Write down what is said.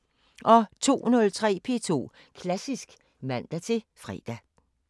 02:03: P2 Klassisk (man-fre)